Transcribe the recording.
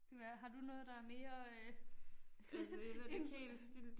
Det kan være har du noget der mere øh interessant